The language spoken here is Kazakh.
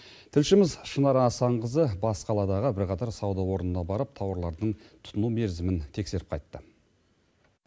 тілшіміз шынар асанқызы бас қаладағы бірқатар сауда орнына барып тауарлардың тұтыну мерзімін тексеріп қайтты